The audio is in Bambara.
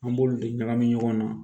An b'olu de ɲagami ɲɔgɔn na